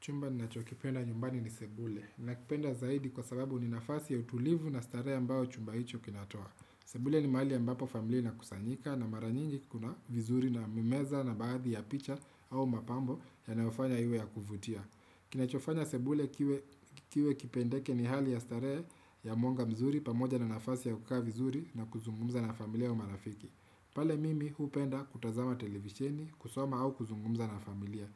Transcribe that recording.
Chumba nina cho kipenda nyumbani ni sebule. Nina kipenda zaidi kwa sababu ni nafasi ya utulivu na starehe a mbayo chumba hicho kinatoa. Sebule ni mahali a mbapo familia ina kusanyika na maranyinji kuna vizuri na mimeza na baadhi ya picha au mapambo ya nayofanya iwe ya kuvutia. Kina cho fanya sebule kiwe kipendeke ni hali ya starehe ya mwanga mzuri pamoja na nafasi ya kukaa vizuri na kuzungumza na familia wa marafiki. Pale mimi hupenda kutazama televishini, kusoma au kuzungumza na familia.